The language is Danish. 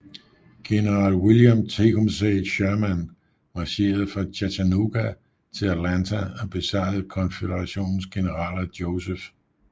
General William Tecumseh Sherman marcherede fra Chattanooga til Atlanta og besejrede Konføderationens generaler Joseph E